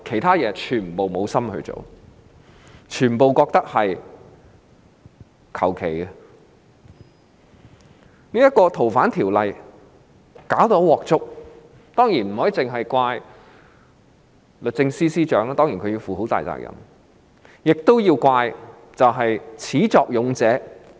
《條例草案》的審議搞得一塌糊塗，當然不能只怪律政司司長——雖然她要負上很大責任——亦要怪始作俑者。